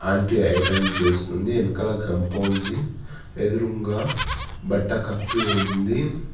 Aunty iron చేస్తూ ఉంది వెనకాల గంప ఉంది ఎదురుంగా బట్టకప్పి ఉంది.